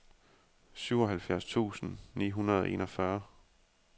syvoghalvfjerds tusind ni hundrede og enogfyrre